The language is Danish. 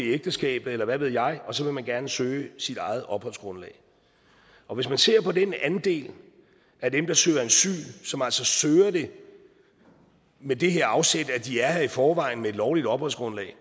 ægteskabet eller hvad ved jeg og så vil man gerne søge sit eget opholdsgrundlag og hvis man ser på den andel af dem der søger asyl som altså søger det med det her afsæt at de er her i forvejen på et lovligt opholdsgrundlag